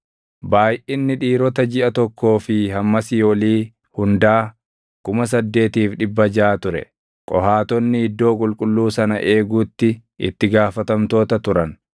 Baayʼinni dhiirota jiʼa tokkoo fi hammasii olii hundaa 8,600 ture. Qohaatonni iddoo qulqulluu sana eeguutti itti gaafatamtoota turan.